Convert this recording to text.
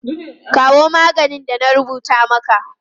Kawo maganin da na rubuta maka!